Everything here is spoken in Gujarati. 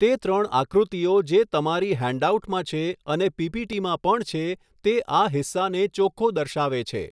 તે ત્રણ આકૃતિઓ જે તમારી હેન્ડઆઉટમાં છે અને પીપીટીમાં પણ છે તે આ હિસ્સાને ચોખ્ખો દર્શાવે છે.